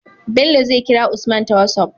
Bello zai kira usman ta whatsapp